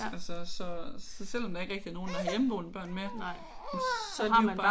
Altså så så så selvom der ikke rigtig er nogen der har hjemmeboende børn mere så er de jo bare